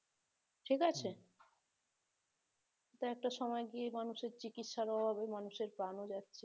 ঠিক আছে? একটা সময় গিয়ে মানুষের চিকিৎসার অভাবে মানুষের প্রাণও যাচ্ছে